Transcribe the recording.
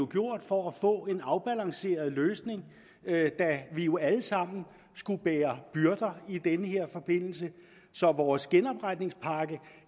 gjort for at få en afbalanceret løsning da vi jo alle sammen skulle bære byrder i den her forbindelse så vores genopretningspakke